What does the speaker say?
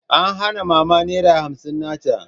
An hana Mama Naira hamsin na ta.